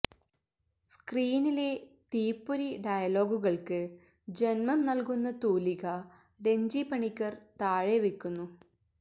സ്ക്രീനിലെ തീപ്പൊരി ഡയലോഗുകള്ക്ക് ജന്മം നല്കുന്ന തൂലിക രഞ്ജി പണിക്കര് താഴെവെയ്ക്കുന്നു